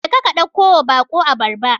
Jeka ka ɗakkowa baƙo abarba.